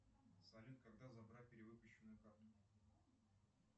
салют когда забрать перевыпущенную карту